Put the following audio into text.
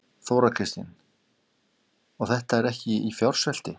Þóra Kristín: Og þetta er ekki í fjársvelti?